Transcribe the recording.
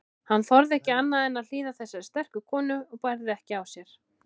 Hann þorði ekki annað en hlýða þessari sterku konu og bærði ekki á sér.